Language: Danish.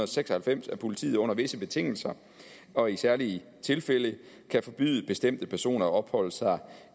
seks og halvfems at politiet under visse betingelser og i særlige tilfælde kan forbyde bestemte personer at opholde sig